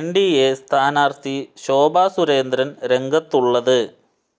NDA സ്ഥാനാര്ത്ഥി ശോഭ സുരേന്ദ്രന് രംഗത്തുള്ളത്